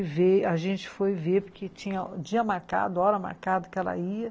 É, a gente foi ver, porque tinha o dia marcado, a hora marcada que ela ia,